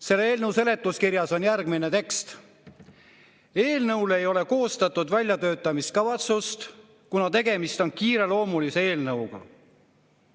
Selle eelnõu seletuskirjas on järgmine tekst: "Eelnõule ei ole koostatud väljatöötamiskavatsust, kuna tegemist on kiireloomulise eelnõuga.